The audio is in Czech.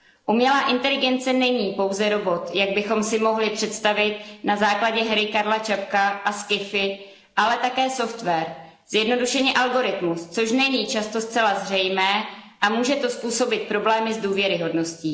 Umělá inteligence není pouze robot, jak bychom si mohli představit na základě hry Karla Čapka a sci fi, ale také software zjednodušeně algoritmus, což není často zcela zřejmé a může to způsobit problémy s důvěryhodností.